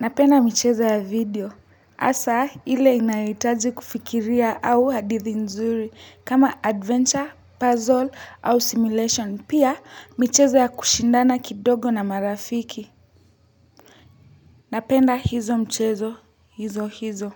napenda michezo ya video. Asa, ile inayohitaji kufikiria au hadithi nzuri kama adventure, puzzle au simulation. Pia, michezo ya kushindana kidogo na marafiki. Napenda hizo mchezo, hizo hizo.